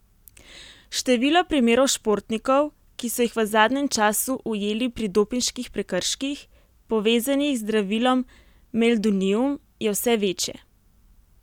Število primerov športnikov, ki so jih v zadnjem času ujeli pri dopinških prekrških, povezanih z zdravilom meldonium, je vse večje.